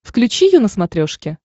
включи ю на смотрешке